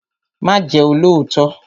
Má Ję olóòtọ́!